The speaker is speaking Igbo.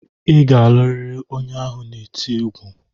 Ị ga-alụrịrị onye ahụ na-eti egwu!